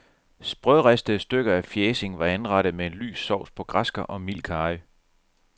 Sprødristede stykker af fjæsing var anrettet med en lys sovs på græskar og mild karry.